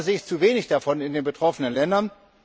Leider sehe ich zu wenig davon in den betroffenen Ländern.